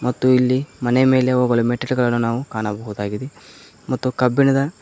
ಮತ್ತು ಇಲ್ಲಿ ಮನೆ ಮೇಲೆ ಹೋಗಲು ಮೆಟ್ಟಿಲುಗಳನ್ನು ನಾವು ಕಾಣಬಹುದಾಗಿದೆ ಮತ್ತು ಕಬ್ಬಿಣದ--